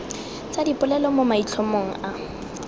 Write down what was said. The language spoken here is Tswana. tsa dipolelo mo maitlhomong a